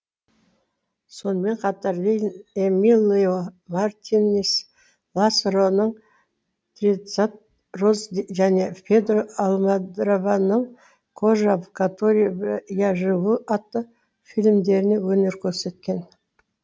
сонымен қатар ленни эмилио мартинес ласароның тринадцать роз және педро альмодовараның кожа в которой я живу атты фильмдерінде өнер көрсеткен